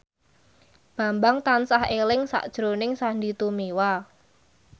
Bambang tansah eling sakjroning Sandy Tumiwa